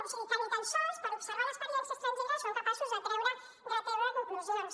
o sigui que ni tan sols per observar l’experiència estrangera són capaços de treure conclusions